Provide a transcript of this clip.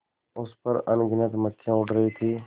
उस पर अनगिनत मक्खियाँ उड़ रही थीं